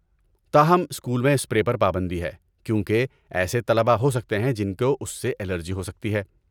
تاہم، اسکول میں اسپرے پر پابندی ہے کیونکہ ایسے طلبہ ہو سکتے ہیں جن کو اس سے الرجی ہو سکتی ہے۔